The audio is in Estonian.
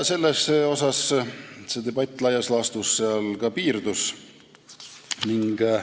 Sellega debatt laias laastus ka piirdus.